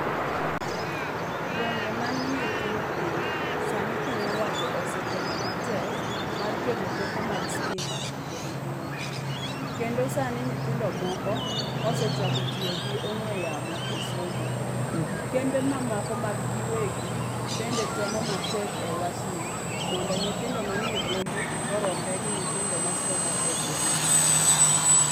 Gwenge manie tung' piny, sani piny owacho osetemo matek, mar keto teko mag stima kod mbui. Kendo sani nyithindo moko, osechako tiyo gi ong'we yamo e somo. Kembe mamoko mag giwegi, bende temo matek e wachni, mondo nyithindo manie bombe oromre gi nyithindo masomo e gwenge.